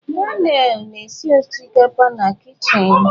Daniel na-esi osikapa na kichin.